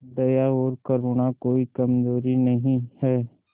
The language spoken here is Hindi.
दया और करुणा कोई कमजोरी नहीं है